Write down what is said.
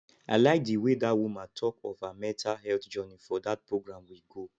i like the way dat woman talk of her mental health journey for dat program we go